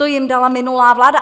To jim dala minulá vláda.